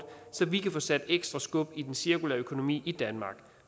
så vi kan få sat ekstra skub i den cirkulære økonomi i danmark